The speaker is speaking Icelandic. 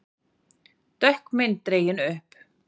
Dökk mynd dregin upp